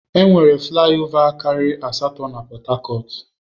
Enwere flai ova karịrị asatọ na Pọt hakọt.